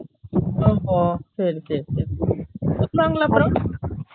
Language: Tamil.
ஓ ஹோ சேரி சேரி சேரி கூப்டாங்களா அப்பரம்